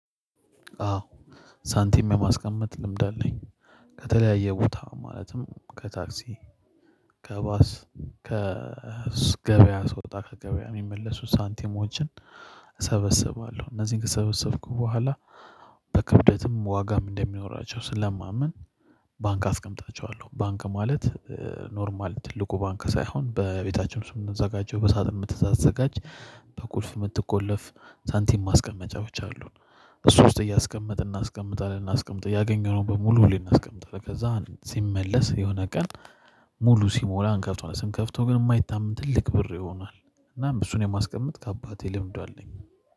አዎ ሳንቲም የማስቀመጥ ልምድ አለኝ። ከተለያየ ቦታ ማለትም ከታክሲ ከባስ ከገበያ ስወጣ ከገበያ የሚመለሱ ሳንቲሞችን እሰበስባለሁ እነዚህን ከሰበሰብኩ በኋላ በክብደትም ዋጋም እንደሚኖራቸው ስለማምን። ባንክ አስቀምጣችኋለሁ ባንክ ማለት ኖርማል ትልቁ ባንክ ሳይሆን በቤታችን ውስጥ የምንዘጋጀው በሳጥን የምትዘጋጅ በቁልፍ የምትቆለፍ ሳንቲም ማስቀመጫዎች አሉን። እሱ ውስጥ እያስቀመጥን እናስቀምጣለን እናስቀምጥ እያገኘነው በሙሉ ሁሌም እናስቀምጣለን ከዛ ሲመለስ የሆነ ቀን ሙሉ ሲሞላ አንከፍተዋለን ስንከፍተው ግን የማይታመን ትልቅ ብር ይሆናል። እናም ብዙን የማስቀምጥ ከአባቴ ልምዱ አለኝ።